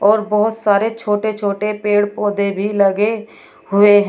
और बहुत सारे छोटे छोटे पेड़ पौधे भी लगे हुए हैं।